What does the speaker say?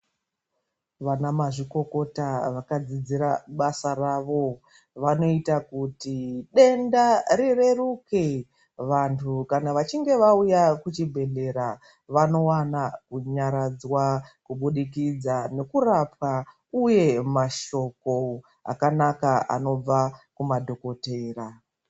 Vanamazvikokota vakadzidzira basa ravo, vanoita kuti denda rireruke. Vantu kana vachinge vauya kuchibhedhlera, vanowana kunyaradzwa kubudikidza nekurapwa uye mashoko akanaka anobva kumadhokodheya.